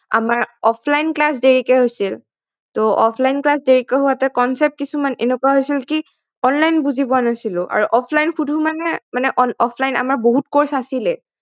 আমাৰ offline class দেৰিকে হৈছিল offline class দেৰিকে হোৱাতে concept কিছুমান এনেকুৱা হৈছিল কি online বুজি পোৱা নাছিলো আৰু offline শুধো মানে offline আমাৰ বহুত course আছিলে